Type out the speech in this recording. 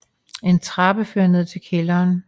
En trappe fører ned til kælderen